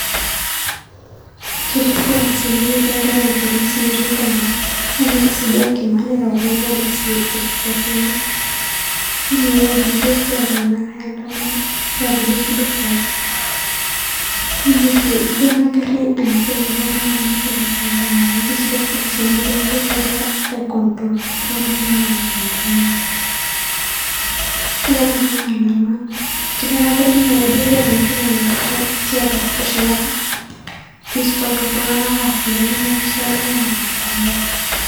Ketii irpolisi ene, netii egarri lorpolisie netii sii duo Enkima. Neeta kulo polisi irisasini, yielo ene weuji ejio kegira iltung'anak aendamana, ijio netapejo sii duo orbaribara ejio ena garri enagira Aiko iltung'anak peemitoki ake aiyandamana, kajo ore sii duo kulo polisi ijio iloogira aicontrol kulo Tung'anak peimitoki aendamana tiatua ena maendamano. Yielo tiatua ena maandamano ejio ena garri keeta enoshi toki naji tear gas teshumata peistop iltung'anak neas Intokitin nemeishaakino ena maandamano.